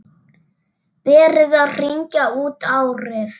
Verið að hringja út árið.